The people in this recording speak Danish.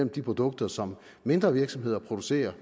de produkter som mindre virksomheder producerer